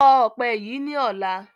Kọ ọpẹ yí ni ọ̀la!